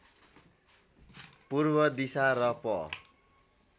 पूर्व दिशा र प